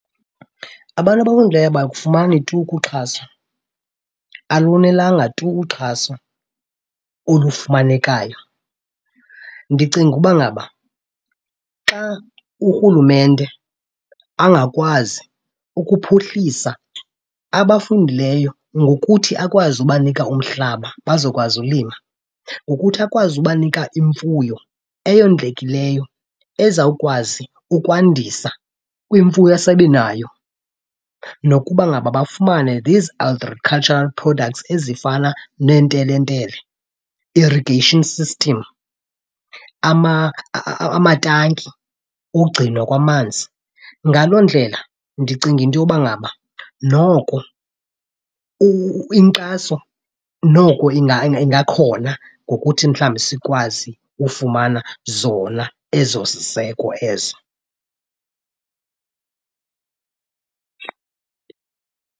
Abantu abakufumani tu ukuxhaswa, alonelanga tu uxhaso olufumanekayo. Ndicinga uba ngaba xa urhulumente angakwazi ukuphuhlisa abafundileyo ngokuthi akwazi ubanika umhlaba bazokwazi ulima, ngokuthi akwazi ubanika imfuyo eyondlekileyo ezawukwazi ukwandisa kwimfuyo esebenayo, nokuba ngaba bafumane these agricutural products ezifana neentelentele, irrigation system, amatanki ogcinwa kwamanzi. Ngaloo ndlela ndicinga into yoba ngaba noko inkxaso noko ingakhona ngokuthi mhlawumbi sikwazi ufumana zona ezo ziseko ezo.